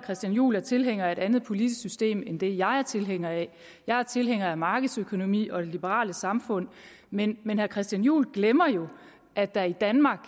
christian juhl er tilhænger af et andet politisk system end det jeg er tilhænger af jeg er tilhænger af markedsøkonomi og det liberale samfund men herre christian juhl glemmer jo at der i danmark